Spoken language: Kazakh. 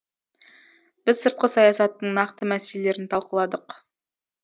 біз сыртқы саясаттың нақты мәселелерін талқыладық